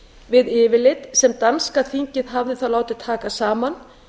við yfirlit sem danska þingið hafði þá látið taka saman